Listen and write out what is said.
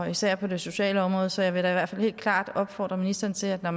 især på det sociale område så jeg vil da i hvert fald helt klart opfordre ministeren til når